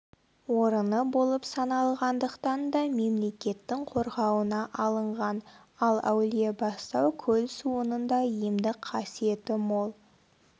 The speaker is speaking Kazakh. орыны болып саналғандықтан да мемлекеттің қорғауына алынған ал әулиебастау көл суының да емдік қасиеті мол